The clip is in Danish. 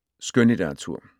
Skønlitteratur